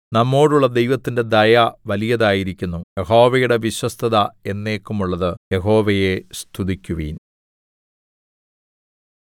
നമ്മളോടുള്ള ദൈവത്തിന്റെ ദയ വലിയതായിരിക്കുന്നു യഹോവയുടെ വിശ്വസ്തത എന്നേക്കും ഉള്ളത് യഹോവയെ സ്തുതിക്കുവിൻ